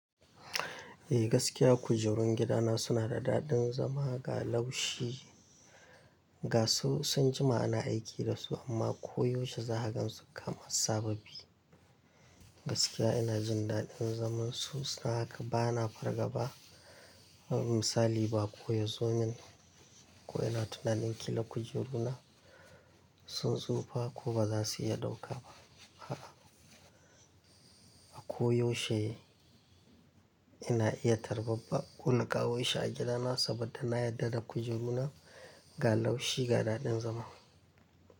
Eh gaskiya kujerun gidana suna da daɗin zama ga laushi. Ga su sun jima ana aiki da su amma koyaushe za ha gan su kama sababi. Gaskiya ina jin daɗin zaman su don haka bana farga ba. Na misali baƙo yazomin, ko ina tunanin ƙila kujeru na sun tsufa ko ba za su iya ɗauka ba. A koyaushe ina iya tarbar bako na kawoshi a gidana saboda na yarda da kujeru na ga laushi ga daɗin zama.